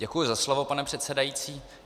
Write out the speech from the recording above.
Děkuji za slovo, pane předsedající.